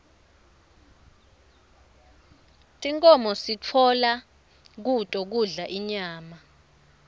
tinkhomo sitfola kuto kudla inyama